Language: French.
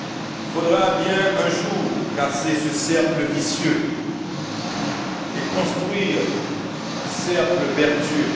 Il faudra bien un jour casser ce cercle vicieux et construire un cercle vertueux.